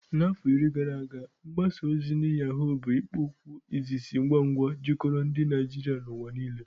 Afọ iri gara aga, mgbaza ozi ndi Yaghó bụ ikpo okwu izizi ngwa ngwa jikọtara ndị Naijiria n'ụwa niile.